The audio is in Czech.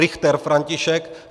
Richter František